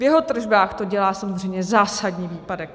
V jeho tržbách to dělá samozřejmě zásadní výpadek.